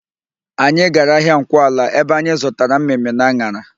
Anyị gara ahịa Nkwọala ebe anyị zụtara mmịmmị na an̄ara.